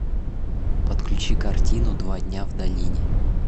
подключи картину два дня в долине